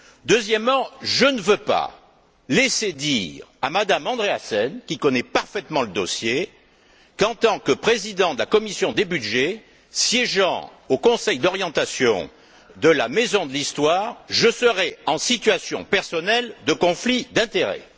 Deuxièmement, je ne veux pas laisser dire à Mme Andreasen, qui connaît parfaitement le dossier, qu'en tant que président de la commission des budgets siégeant au conseil d'orientation de la Maison de l'histoire, je serais en situation personnelle de conflit d'intérêts.